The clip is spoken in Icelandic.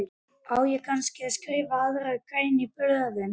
Á kannski að skrifa aðra grein í blöðin?